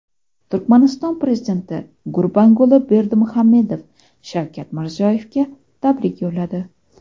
Turkmaniston prezidenti Gurbanguli Berdimuhammedov Shavkat Mirziyoyevga tabrik yo‘lladi.